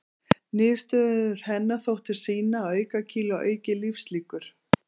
Niðurstöður hennar þóttu sýna að aukakíló auki lífslíkur.